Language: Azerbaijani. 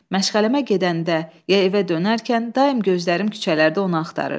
Məşğələmə gedəndə ya evə dönərkən daim gözlərim küçələrdə onu axtarırdı.